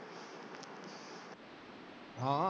ਹਾਂ।